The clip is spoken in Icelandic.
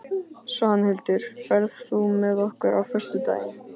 Svanhildur, ferð þú með okkur á föstudaginn?